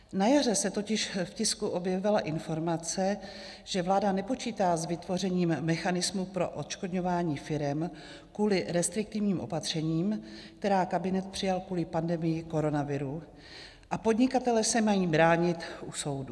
Na jaře se totiž v tisku objevila informace, že vláda nepočítá s vytvořením mechanismů pro odškodňování firem kvůli restriktivním opatřením, která kabinet přijal kvůli pandemii koronaviru, a podnikatelé se mají bránit u soudu.